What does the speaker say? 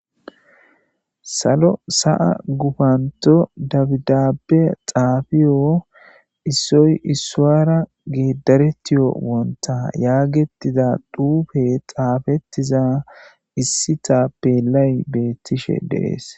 Salo sa7a gufanto dabdabe xaafiyo issoy issuwara gedaretiyo wonta yaagetiza dhuufe xaafettiza issita belay beettishe deees.